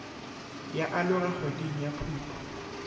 ya aloga kgweding ya phuphu